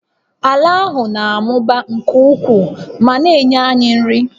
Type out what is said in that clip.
Ala ahụ na-amụba nke ukwuu ma na-enye anyị nri